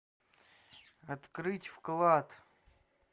открыть вклад